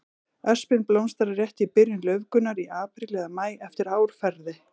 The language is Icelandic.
Öspin blómstrar rétt í byrjun laufgunar, í apríl eða maí eftir árferði.